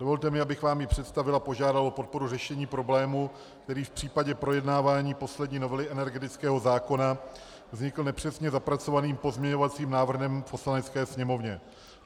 Dovolte mi, abych vám ji představil a požádal o podporu řešení problému, který v případě projednávání poslední novely energetického zákona vznikl nepřesně zapracovaným pozměňovacím návrhem v Poslanecké sněmovně.